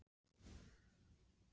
Hugrún: Hvað hefurðu meðferðis?